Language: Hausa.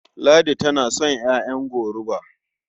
Ladi tana son ƴaƴan goruba.